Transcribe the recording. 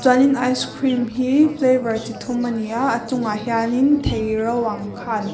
chuan in ice cream hi flavor chi thum ani aaa a chungah hian in thei ro ang kha an--